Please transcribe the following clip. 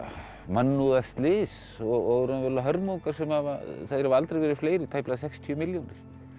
mannúðarslys og hörmungar þeir hafa aldrei verið fleiri tæplega sextíu milljónir